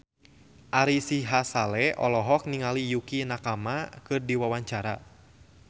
Ari Sihasale olohok ningali Yukie Nakama keur diwawancara